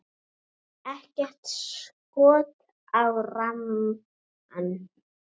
Ekkert skot á rammann?